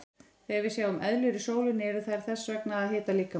Þegar við sjáum eðlur í sólinni eru þær þess vegna að hita líkamann.